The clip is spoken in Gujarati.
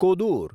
કોદૂર